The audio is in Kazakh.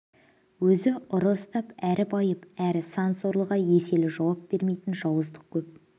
өзі ұры ұстап әрі байып әрі сан сорлыға еселі жауап бермейтін жауыздық көп